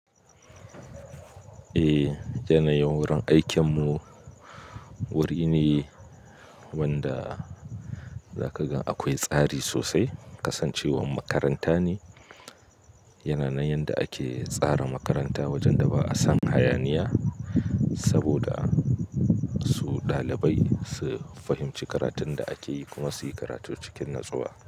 Eh, yanayin wurin aikinmu wuri ne wanda zaka gan akwai tsari sosai. Kasancewan makaranta ne, yana nan yanda ake tsara makaranta wajen da ba'a san hayaniya saboda su ɗalibai su fahimci karatun da ake yi kuma su yi karatu cikin natsuwa.